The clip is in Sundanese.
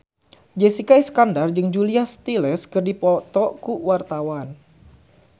Jessica Iskandar jeung Julia Stiles keur dipoto ku wartawan